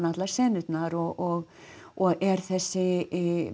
allar senurnar og og er þessi